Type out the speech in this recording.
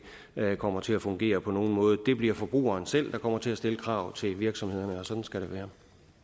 her kommer til at fungere på nogen måde det bliver forbrugerne selv der kommer til at stille krav til virksomhederne og sådan skal